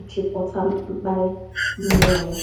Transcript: ịchịkọta mkpali mmụọ ya.